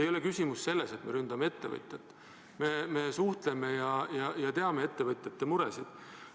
Küsimus ei ole selles, et me ründame ettevõtjat, me suhtleme ja teame ettevõtjate muresid.